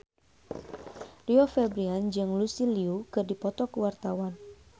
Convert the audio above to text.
Rio Febrian jeung Lucy Liu keur dipoto ku wartawan